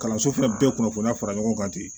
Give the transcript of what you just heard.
Kalanso fɛnɛ bɛɛ kunnafoniya fara ɲɔgɔn kan ten